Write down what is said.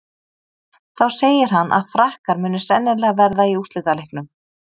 Þá segir hann að Frakkar muni sennilega verða í úrslitaleiknum.